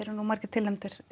eru nú margir tilnefndir